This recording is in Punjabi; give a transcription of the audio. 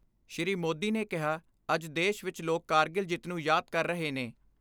ਸ਼੍ਰੀ ਮੋਦੀ ਨੇ ਕਿਹਾ ਅੱਜ ਦੇਸ਼ ਵਿਚ ਲੋਕ ਕਾਰਗਿਲ ਜਿੱਤ ਨੂੰ ਯਾਦ ਕਰ ਰਹੇ ਨੇ।